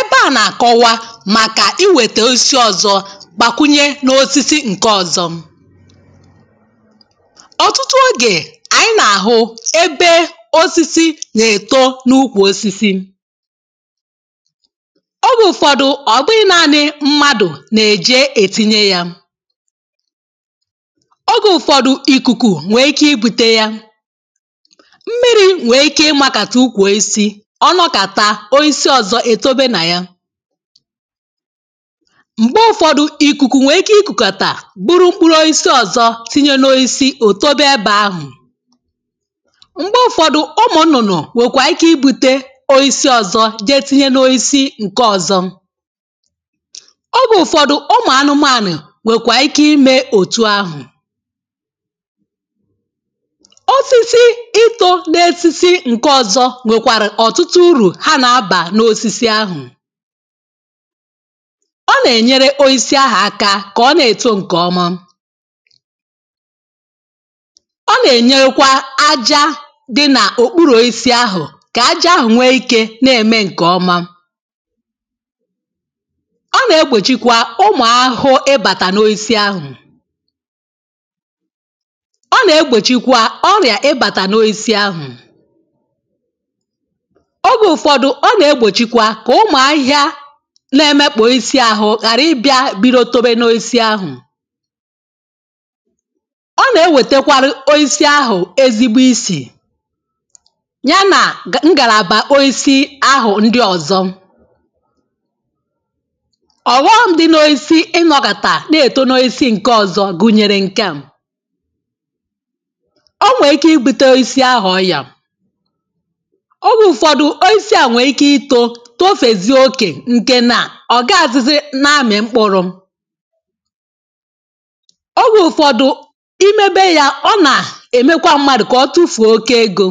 Ébé à nà-àkọwa màkà iwètè osisi ọzọ gbàkwunye n’osisi nke ọ̀zọ. Ọtụtụ ogè ànyị nà-àhụ ebe osisi nà-èto n’ukwù osisi, Ogė ụ̀fọdụ ọ̀gbụghi̇ naanị̇ mmadụ̀ nà-èje ètinye yȧ, Ogè ụfọdụ, nwèè ikē ịbùtē yà. Mmīrī nwèè ike ịmàkàtà ukwù oisì, Ọnọkata oisì ọzọ etobē nà yà. Mgbè ụfọdụ ikùkù nwèè ike ịkukàtà buru mkpụrụ oisi ọzọ tinye n’oisi, otobè ebe àhụ. Mgbè ụ̀fọ̀dụ̀, ụ̀mụ̀ nnụ̀nụ̀ nwèkwàà ike ịbùte oisi ọzọ jéé tinyé n’oisi nkè ọzọ. Ogè ụ̀fọ̀dụ̀ ụmụ̀ anụmànụ̀ wekwà ike imė òtu ahụ̀. Osisi ịto n’esisi nkè ọzọ nwèkwàrị ọtụtụ ùrù ha nà-abà n’osisi ahụ̀. Ọ nà-ènyere oisi ahụ̀ aka kà ọ na-èto ǹkè ọma. Ọ nà-ènyekwa aja dị nà òkpuru oisi ahụ̀ kà aja ahụ̀ nwee ikė na-ème ǹkè ọma. Ọ nà-egbòchikwa ụmụ̀ ahụhụ ịbàtà n’oisi ahụ̀. Ọ nà-egbòchikwa ọrịà ịbàtà n’oisi ahụ̀. Ogè ụfọdụ, ọ nà egbòchikwa kà ụmụ ahịhịa nà emekpọ̀ oisi àhụ̀ ghàrà ịbịà bido tobe n’oisi ahụ̀. Ọ nà ewètèkwàrụ oisi ahụ̀ ezigbo isì, ya nà ngàlàbà oisi ahụ̀ ndị ọzọ. Ọhọm dị n’oisi ịnọkàtà na eton’oisi nkè ọzọ gụnyèrè nkèà- O nwee ike ịbute oisi ahụ̀ ọyịà, Ogè ụfọdụ, oisi à nwee ike ịto, tofèzie okè, nkè na ogaizị na amị mkpụrụ. Ogè ụfọdụ, ịmebe yà, ọ nà-emekwa mmadụ kà ọtufuo oke ego.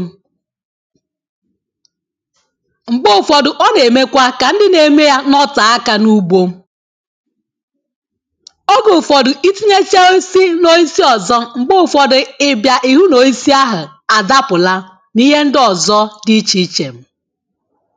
Mgbè ụfọdụ, ọ na-emekwa kà ndị na-eme yà nọtéé aka na ugbó. Ogè ụfọdụ, ịtinyesie oisi n’oisi ọzọ, mgbè ụfọdị ị bịa ịhụ na oisi ahụ̀ àdápụlá, n’ịhē ndị ọzọ dị ịchè ịchè.